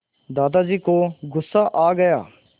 दादाजी को गुस्सा आ गया